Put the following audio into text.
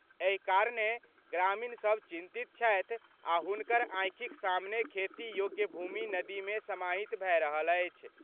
एहि कारणें ग्रामीण सभ चिंतित छथि आ हुनकर आंखिक सामने खेती योग्य भूमि नदी मे समाहित भए रहल अछि।